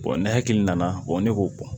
ne hakili nana ne k'o bɔ